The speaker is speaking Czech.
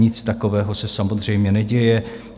Nic takového se samozřejmě neděje.